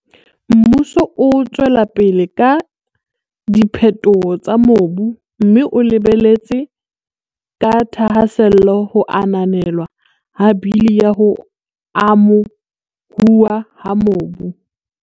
Mmuso o tswela pele ka diphetoho tsa mobu mme o lebeletse ka thahasello ho ananelwa ha Bili ya ho Amo huwa ha Mobu.